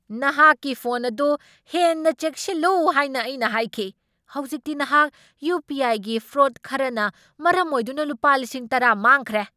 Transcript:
ꯅꯍꯥꯛꯀꯤ ꯐꯣꯟ ꯑꯗꯨ ꯍꯦꯟꯅ ꯆꯦꯛꯁꯤꯜꯂꯨ ꯍꯥꯏꯅ ꯑꯩꯅ ꯍꯥꯏꯈꯤ꯫ ꯍꯧꯖꯤꯛꯇꯤ ꯅꯍꯥꯛ ꯌꯨ. ꯄꯤ. ꯑꯥꯏ.ꯒꯤ ꯐ꯭ꯔꯣꯗ ꯈꯔꯅ ꯃꯔꯝ ꯑꯣꯏꯗꯨꯅ ꯂꯨꯄꯥ ꯂꯤꯁꯤꯡ ꯇꯔꯥ ꯃꯥꯡꯈ꯭ꯔꯦ꯫